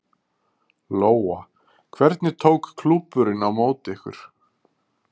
Lóa: Hvernig tók klúbburinn á móti ykkur?